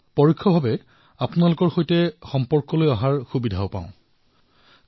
এক প্ৰকাৰে পৰোক্ষ ৰূৰত আপোনালোক সকলোৰে সৈতে জড়িত হোৱাৰ অৱকাশ লাভ কৰো